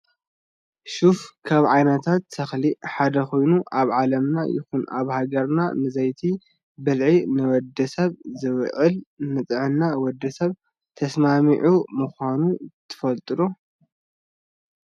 ሹፍ ካብ ዓይነታት ተክሊ ሓደ ኮይኑ ኣብ ዓለምና ይኩን ኣብ ሃገርና ንዘይቲ ብልዒ ንወዲሰብ ዝውዕል ንጥዕና ወዲ ሰብ ተስማሚዒ ምኳኑ ትፈልጡ ዶ?